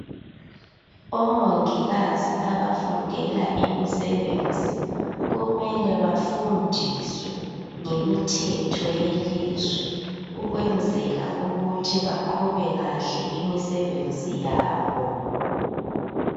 Omongikazi abafundela imisebenzi kumele bafundiswe ngemithetho yelizwe ukwenzela ukuthi baqhube kahle imisebenzi yabo.